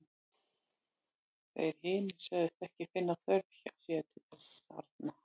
Þeir hinir sögðust ekki finna þörf hjá sér til þess arna.